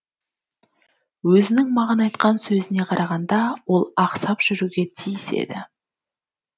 өзінің маған айтқан сөзіне қарағанда ол ақсап жүруге тиіс еді